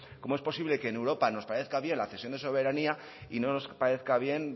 cómo es posible que en europa nos parezca bien la cesión de soberanía y no nos parezca bien